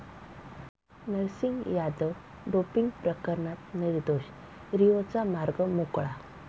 Narsing Yadav doping प्रकरणात निर्दोष, 'रिओ'चा मार्ग मोकळा